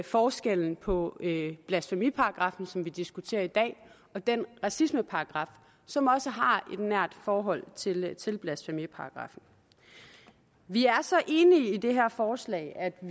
forskellen på blasfemiparagraffen som vi diskuterer i dag og den racismeparagraf som også har et nært forhold til til blasfemiparagraffen vi er så enige i det her forslag at